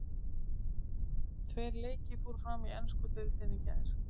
Tveir leikir fóru fram í ensku deildinni í gær.